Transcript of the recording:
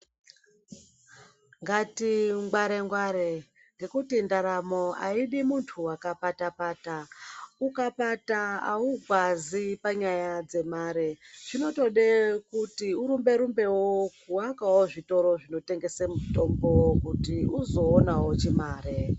Ngati ngware ngware ngekuti ndaramo hayidi muntu wakapata pata. Ukapata awukwazi panyaya dzemare . Inotode kuti urumberumbewo wawakawo zvitoro zvinotengese mitombo wokuti uzowonawo chimari.